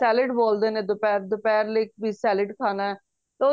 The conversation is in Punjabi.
salad ਬੋਲਦੇ ਨੇ ਦੁਪਹਿਰ ਦੁਪਹਿਰ ਲਈ salad ਖਾਣਾ ਤਾਂ